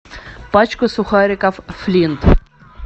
пачку сухариков флинт